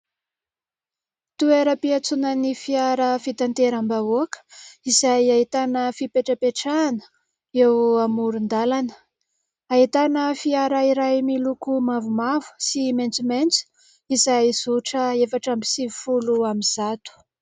Toeram-piatsonan'ny fiara fitantera-bahoaka izay ahitana fipetrapetrahana eo amoron-dalana. Ahitana fiara iray miloko mavomavo sy maintsomaintso, izay zotra efatra amby sivy folo amin'y zato.